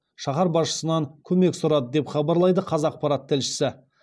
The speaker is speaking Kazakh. шаһар басшысынан көмек сұрады деп хабарлайды қазақпарат тілшісі